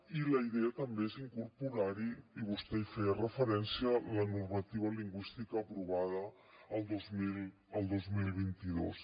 i la idea també és incorporar hi i vostè hi feia referència la normativa lingüística aprovada el dos mil vint dos